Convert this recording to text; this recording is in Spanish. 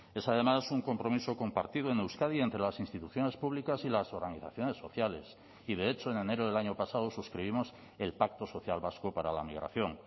es además un compromiso compartido en euskadi entre las instituciones públicas y las organizaciones sociales y de hecho en enero del año pasado suscribimos el pacto social vasco para la migración